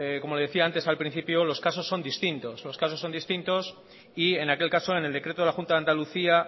como le decía antes al principio los casos son distintos los casos son distintos y en aquel caso en el decreto de la junta de andalucía